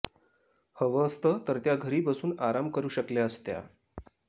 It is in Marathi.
हवं असतं तर त्या घरी बसून आराम करू शकल्या असत्या